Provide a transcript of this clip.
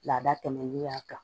Laada tɛmɛnen y'a kan